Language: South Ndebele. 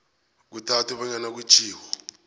kuthathwe bonyana kutjhiwo